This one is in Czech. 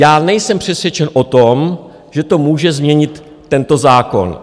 Já nejsem přesvědčen o tom, že to může změnit tento zákon.